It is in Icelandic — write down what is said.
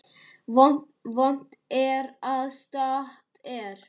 Vont er ef satt er.